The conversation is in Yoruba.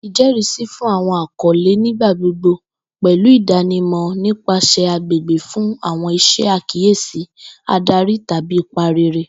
Ijẹrisi fun awọn akọle nigbagbogbo pẹlu idanimọ nipasẹ agbegbe fun awọn iṣe akiyesi, adari, tabi ipa rere.